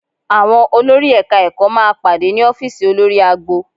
Àwọn olórí Ẹ̀ka-ẹ̀kọ́ máa pàdé ní ọ́fíìsì olórí agbo